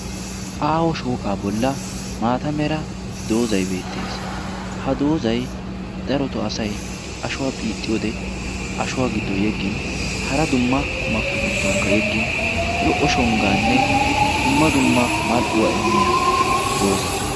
Aawo shooqaa bolla maata mera doozay beettees. ha doozay daroto asay ashuwaa xiixxi wode ashuwaa giddon yeggin hara dumma qumakitu giddonkka yeggin lo"o shonggaanne dumma dumma mal"uwaa immiya dooza.